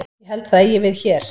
Ég held að það eigi við hér.